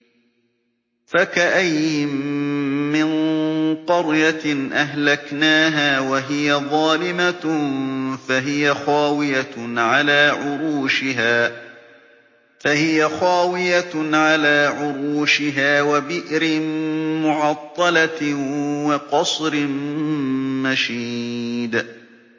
فَكَأَيِّن مِّن قَرْيَةٍ أَهْلَكْنَاهَا وَهِيَ ظَالِمَةٌ فَهِيَ خَاوِيَةٌ عَلَىٰ عُرُوشِهَا وَبِئْرٍ مُّعَطَّلَةٍ وَقَصْرٍ مَّشِيدٍ